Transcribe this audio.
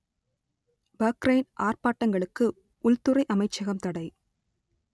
Bahrain ஆர்ப்பாட்டங்களுக்கு உள்துறை அமைச்சகம் தடை